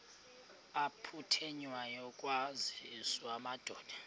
aphuthunywayo kwaziswe amadoda